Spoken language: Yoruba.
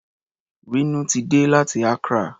Rínú ti dé láti Accra.